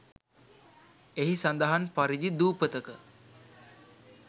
එහි සඳහන් පරිදි දුපතක